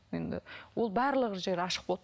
енді ол барлық жері ашық болды